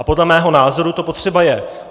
A podle mého názoru to potřeba je.